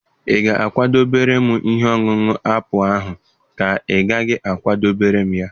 Ị ga-akwadebere m ihe ọṅụṅụ apụl ahụ ka ị gaghị a kwadebere m ya?